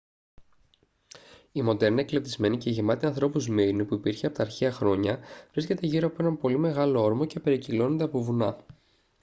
η μοντέρνα εκλεπτυσμένη και γεμάτη ανθρώπους σμύρνη που υπήρχε από τα αρχαία χρόνια βρίσκεται γύρω από έναν πολύ μεγάλο όρμο και περικυκλώνεται από βουνά